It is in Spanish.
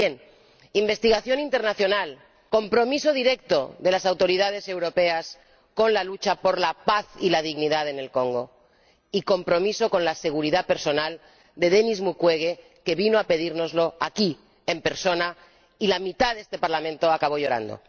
Pues bien investigación internacional, compromiso directo de las autoridades europeas con la lucha por la paz y la dignidad en el Congo, y compromiso con la seguridad personal de Denis Mukwege, que vino a pedírnoslo aquí, en persona, y la mitad de este Parlamento acabó llorando.